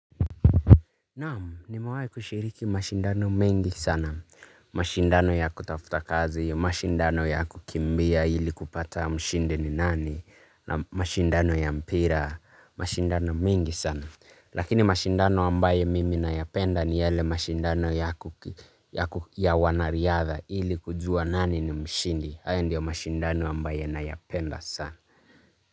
Naamu, nimewai kushiriki mashindano mengi sana. Mashindano ya kutafuta kazi, mashindano ya kukimbia ili kupata mshindi ni nani, na mashindano ya mpira, mashindano mingi sana. Lakini mashindano ambaye mimi nayapenda ni yale mashindano ya wanariyadha ili kujua nani ni mshindi. Haya ndiyo mashindano ambaye nayapenda sana.